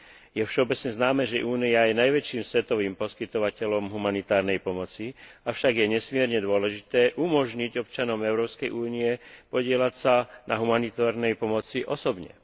Je všeobecne známe, že Únia je najväčším svetovým poskytovateľom humanitárnej pomoci, je však nesmierne dôležité umožniť občanom Európskej únie podieľať sa na humanitárnej pomoci osobne.